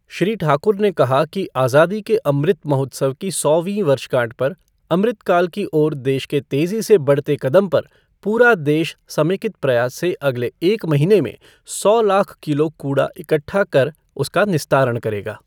श्री ठाकुर ने कहा कि आज़ादी के अमृत महोत्सव की सौवीं वर्षगाँठ पर अमृतकाल की ओर देश के तेजी से बढते कदम पर पूरा देश समेकित प्रयास से अगले एक महीने में सौ लाख किलो कूड़ा इकठ्ठा कर उसका निस्तारण करेगा।